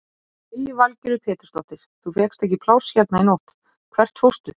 Lillý Valgerður Pétursdóttir: Þú fékkst ekki pláss hérna í nótt, hvert fórstu?